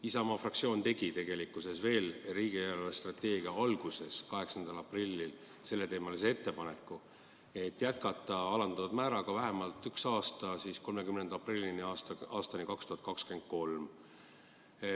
Isamaa fraktsioon tegi tegelikult veel riigi eelarvestrateegia arutamise alguses, 8. aprillil ettepaneku pikendada alandatud määra kasutamist vähemalt ühe aasta võrra, 30. aprillini 2023.